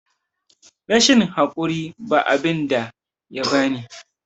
rashin hakuri ba abinda yabani